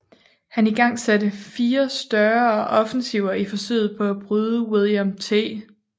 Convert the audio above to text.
Han igangsatte fire større offensiver i forsøget på at bryde William T